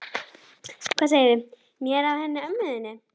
Hvað segirðu mér af henni mömmu þinni?